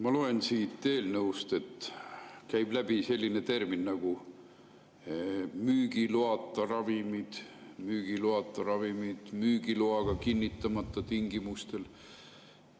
Ma näen, et siit eelnõust käib läbi selline termin nagu "müügiloata ravimid", müügiloast tingimustel.